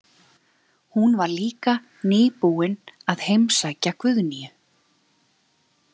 Hún var líka nýbúin að heimsækja Guðnýju.